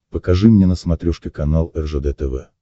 покажи мне на смотрешке канал ржд тв